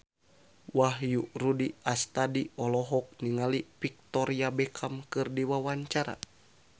Wahyu Rudi Astadi olohok ningali Victoria Beckham keur diwawancara